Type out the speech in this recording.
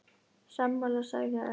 Sammála sagði Örn.